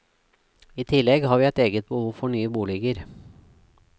I tillegg har vi et eget behov for nye boliger.